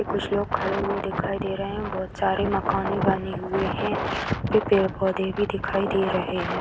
कुछ लोग खड़े हुए दिखाई दे रहे हैं | बहुत सारे मकाने भी बने हुए हैं | यहाँ पे पेड़ पौधे भी दिखाई दे रहे हैं |